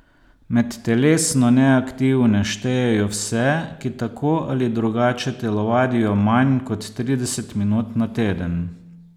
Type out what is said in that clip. Med telesno neaktivne štejejo vse, ki tako ali drugače telovadijo manj kot trideset minut na teden.